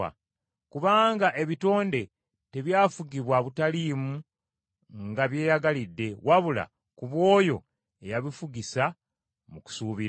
Kubanga ebitonde tebyafugibwa butaliimu nga byeyagalidde, wabula ku bw’oyo eyabifugisa, mu kusuubira.